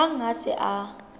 hang ha a se a